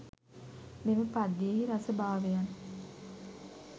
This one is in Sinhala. මෙම පද්‍යයෙහි රස භාවයන්